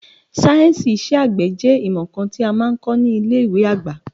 Sáyẹ̀nsì iṣẹ́ àgbẹ̀ jẹ́ ìmọ̀ kan tí a máa ń kọ ní ilé ìwé àgbà.